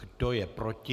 Kdo je proti?